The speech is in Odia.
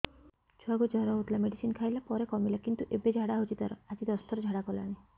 ଛୁଆ କୁ ଜର ହଉଥିଲା ମେଡିସିନ ଖାଇଲା ପରେ କମିଲା କିନ୍ତୁ ଏବେ ଝାଡା ହଉଚି ତାର ଆଜି ଦଶ ଥର ଝାଡା କଲାଣି